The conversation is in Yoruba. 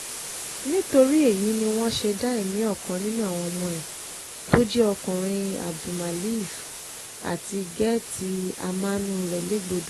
nítorí èyí ni wọ́n ṣe dá ẹ̀mí ọkàn nínú àwọn ọmọ ẹ̀ tó jẹ́ ọkùnrin abdulmillaf àti gẹ̀tì‐àmánú rẹ̀ légbodò